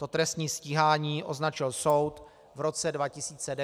To trestní stíhání označil soud v roce 2009 za nedůvodné.